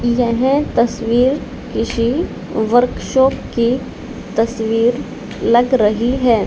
यह तस्वीर किसी वर्क शॉप की तस्वीर लग रही है।